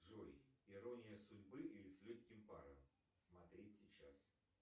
джой ирония судьбы или с легким паром смотреть сейчас